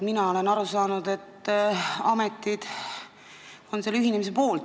Mina olen aru saanud, et ametid on ise selle ühinemise poolt.